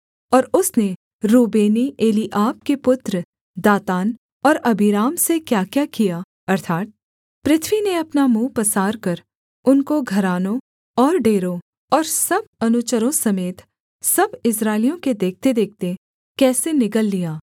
और उसने रूबेनी एलीआब के पुत्र दातान और अबीराम से क्याक्या किया अर्थात् पृथ्वी ने अपना मुँह पसारकर उनको घरानों और डेरों और सब अनुचरों समेत सब इस्राएलियों के देखतेदेखते कैसे निगल लिया